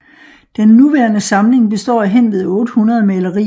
Den nuværende samling består af hen ved 800 malerier